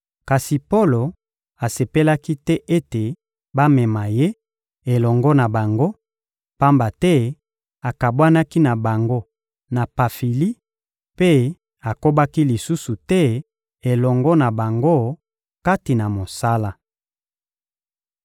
kasi Polo asepelaki te ete bamema ye elongo na bango, pamba te akabwanaki na bango na Pafili mpe akobaki lisusu te elongo na bango kati na mosala.